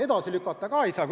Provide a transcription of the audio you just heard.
Edasi lükata seda ka ei saa.